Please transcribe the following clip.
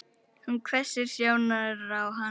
Hún hvessir sjónir á hann.